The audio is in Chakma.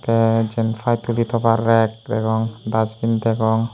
tey jiyan pai tuli tobar rek degong dusbin degong.